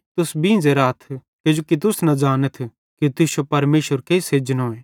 तुस बींझ़े राथ किजोकि तुस न ज़ानथ कि तुश्शो प्रभु केइस एजनोए